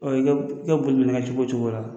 I ka boli minɛ kɛ cogo o cogo la